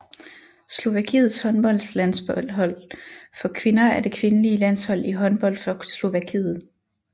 Slovakiets håndboldlandshold for kvinder er det kvindelige landshold i håndbold for Slovakiet